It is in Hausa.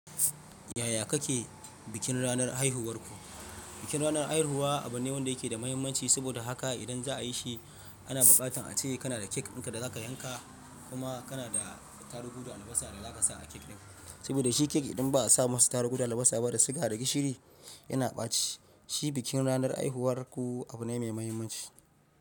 Yaya kake bikin ranar haihuwarku? Bikin ranar haihuwa abu ne wanda yake da muhimmanci, saboda haka idan za a yi shi, ana buƙatar a ce kana da kek ɗin da za ka yanka kuma kana da tarugu da albasa da za ka sa a kek ɗin. Saboda shi kek idan ba, a sa masa tarugu da albasa ba da suga da gishiri yana ɓaci. Shi bikin ranar haihuwar ku abu ne mai muhimmanci.